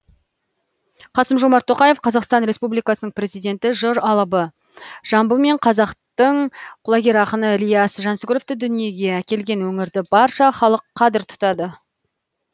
қасым жомарт тоқаев қазақстан республикасының президенті жыр алыбы жамбыл мен қазақтың құлагер ақыны ілияс жансүгіровті дүниеге әкелген өңірді барша халық қадір тұтады